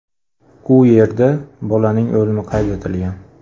U yerda bolaning o‘limi qayd etilgan.